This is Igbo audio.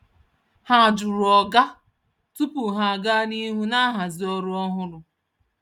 Ha jụrụ oga tupu ha aga n’ihu na nhazi ọrụ ọhụrụ.